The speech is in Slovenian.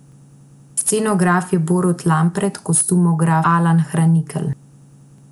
Scenograf je Borut Lampret, kostumograf Alan Hranitelj.